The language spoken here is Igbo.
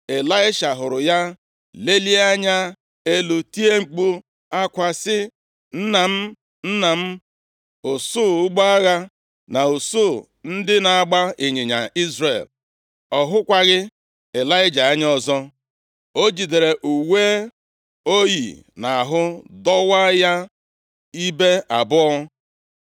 Ịlaisha hụrụ ya, lelie anya elu tie mkpu akwa sị, “Nna m! Nna m! Usuu ụgbọ agha na usuu ndị na-agba ịnyịnya Izrel!” Ọ hụkwaghị Ịlaịja anya ọzọ. O jidere uwe o yi nʼahụ dọwaa ya ibe abụọ.